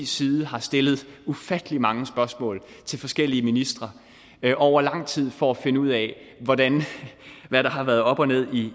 side har stillet ufattelig mange spørgsmål til forskellige ministre over lang tid for at finde ud af hvad der har været op og ned